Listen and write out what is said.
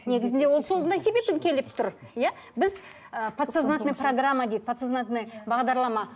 негізінде ол сондай себебін келіп тұр иә біз ы подсознательный программа дейді подсознательный бағдарлама